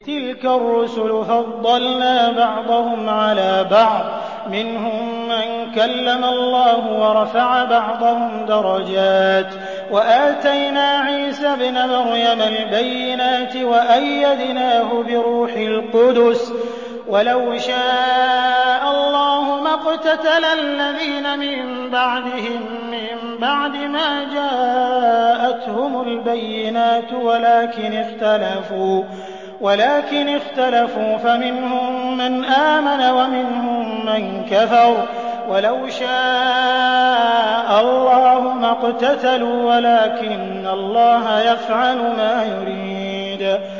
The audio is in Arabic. ۞ تِلْكَ الرُّسُلُ فَضَّلْنَا بَعْضَهُمْ عَلَىٰ بَعْضٍ ۘ مِّنْهُم مَّن كَلَّمَ اللَّهُ ۖ وَرَفَعَ بَعْضَهُمْ دَرَجَاتٍ ۚ وَآتَيْنَا عِيسَى ابْنَ مَرْيَمَ الْبَيِّنَاتِ وَأَيَّدْنَاهُ بِرُوحِ الْقُدُسِ ۗ وَلَوْ شَاءَ اللَّهُ مَا اقْتَتَلَ الَّذِينَ مِن بَعْدِهِم مِّن بَعْدِ مَا جَاءَتْهُمُ الْبَيِّنَاتُ وَلَٰكِنِ اخْتَلَفُوا فَمِنْهُم مَّنْ آمَنَ وَمِنْهُم مَّن كَفَرَ ۚ وَلَوْ شَاءَ اللَّهُ مَا اقْتَتَلُوا وَلَٰكِنَّ اللَّهَ يَفْعَلُ مَا يُرِيدُ